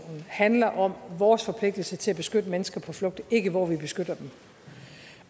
handler om vores forpligtelse til at beskytte mennesker på flugt ikke hvor vi beskytter dem